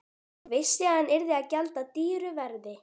Vissi að hann yrði að gjalda dýru verði.